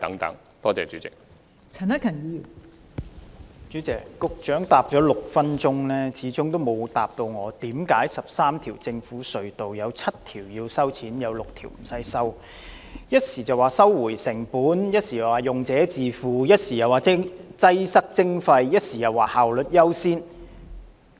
代理主席，局長在其6分鐘的答覆中始終沒有解釋為何在13條政府隧道中，有7條須收費 ，6 條無須收費。他提及"收回成本"、"用者自付"、"擠塞徵費"、"效率優先"等原則。